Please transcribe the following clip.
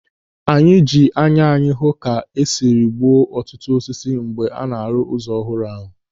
Anyị ji anya anyị hụ ka esiri gbuo ọtụtụ osisi mgbe a na-arụ ụzọ ọhụrụ ahụ.